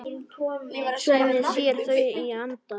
Svenni sér þau í anda.